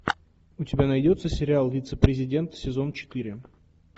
у тебя найдется сериал вице президент сезон четыре